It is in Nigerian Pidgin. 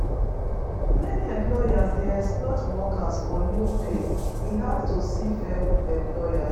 Many employers dey exploit workers for low pay. E hard to see fair employers.